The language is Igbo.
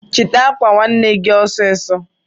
chita akwa nwanne gi osiso